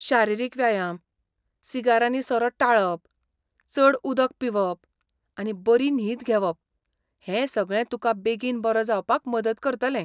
शारिरीक व्यायाम, सिगार आनी सोरो टाळप, चड उदक पिवप, आनी बरी न्हीद घेवप, हें सगळें तुकां बेगीन बरो जावपाक मदत करतलें.